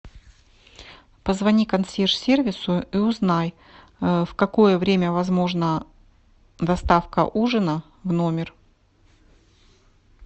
позвони консьерж сервису и узнай в какое время возможна доставка ужина в номер